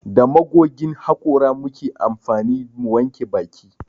Da magogin hakora muke amfani mu wanke baki